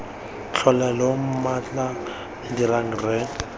tlhole lo mmatla dirang rre